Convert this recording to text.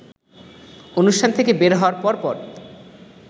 অনুষ্ঠান থেকে বের হওয়ার পরপর